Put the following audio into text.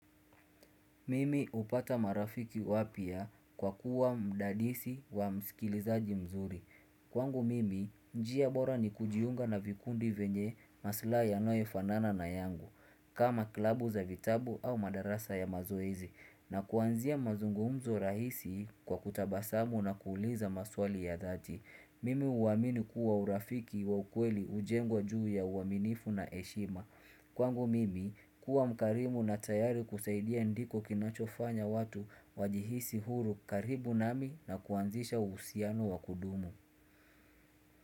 Mimi hupata marafiki wapya kwa kuwa mdadisi wa msikilizaji mzuri. Kwangu mimi, njia bora ni kujiunga na vikundi venye maslahi yanoyofanana na yangu. Kama klabu za vitabu au madarasa ya mazoezi na kuanzia mazungumzo rahisi kwa kutabasamu na kuuliza maswali ya dhati. Mimi huamini kuwa urafiki wa ukweli hujengwa juu ya uaminifu na heshima. Kwangu mimi kuwa mkarimu na tayari kusaidia ndiko kinachofanya watu wajihisi huru karibu nami na kuanzisha uhusiano wa kudumu.